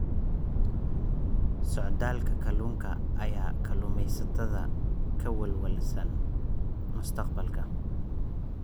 Socdaalka kalluunka ayaa kalluumaysatada ka welwelsan mustaqbalka.